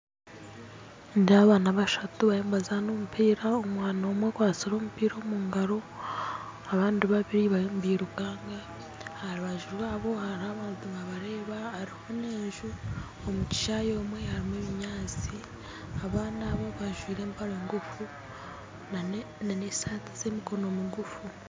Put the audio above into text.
Nindeeba abaana bashatu barimu nibazaana omupiira omwana omwe akwatsire omupiira omungaro abandi babiiri barimu nibirukanga aha rubaju rwabo hariho abantu nibabareeba hariho n'enju omukishayi omwe harimu ebinyaatsi abaana abo bajwire empare nguufu na n'esaati z'emikono miguufu